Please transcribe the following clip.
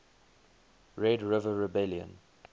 red river rebellion